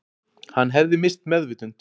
Hann hefði misst meðvitund